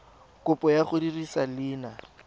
kopo ya go dirisa leina